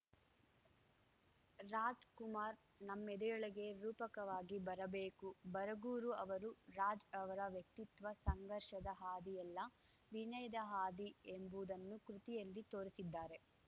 ರಾಜ್‌ಕುಮಾರ್‌ ನಮ್ಮೆದೆಯೊಳಗೆ ರೂಪಕವಾಗಿ ಬರಬೇಕು ಬರಗೂರು ಅವರು ರಾಜ್‌ರವರ ವ್ಯಕ್ತಿತ್ವ ಸಂಘರ್ಷದ ಹಾದಿಯಲ್ಲ ವಿನಯದ ಹಾದಿ ಎಂಬುದನ್ನು ಕೃತಿಯಲ್ಲಿ ತೋರಿಸಿದ್ದಾರೆ